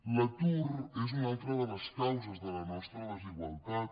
l’atur és una altra de les causes de la nostra desigualtat